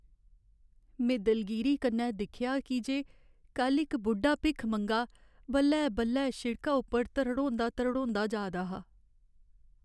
में दलगीरी कन्नै दिक्खेआ की जे कल्ल इक बुड्ढा भिक्खमंगा बल्लै बल्लै शिड़का उप्पर धरड़ोंदा धरड़ोंदा जा दा हा ।